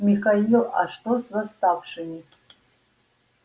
михаил а что с восставшими